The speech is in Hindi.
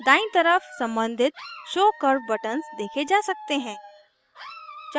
दायीं तरफ सम्बंधित show curve buttons देखे जा सकते हैं